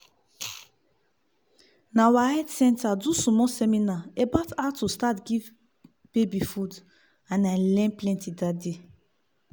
na our health center do small seminar about how to start give baby food and i learn plenty that day